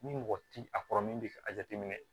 Ni mɔgɔ ti a kɔrɔ min bi ka a jateminɛ